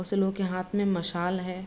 कुछ लोग के हांथ में मशाल है।